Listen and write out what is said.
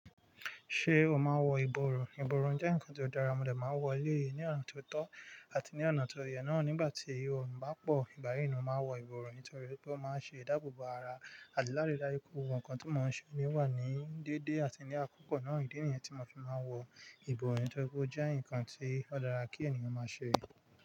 Ṣé o máa ń wọ ìborùn? Ìborùn jẹ́ ǹkan tó dára, mo de máa ń wọ̀ ọ léèní ọ̀nà tó tọ́ àti ní ọ̀nà tó yẹ náà nígbà tí oòrùn bá pọ̀. Igba ni mo máa ń wọ ìbọrùn nítorí pé ó máa ń ṣe ìdáàbòbò ara àti láraída ikú. Ohun kan tí mò ń ṣe ni wà ní dédé àti ní àkókò náà, ìdí nìyẹn tí mo fi máa ń wọ ìbọrùn nítorí pé ó jẹ́ ǹkan tí ó dára kí ènìyàn máa ṣe.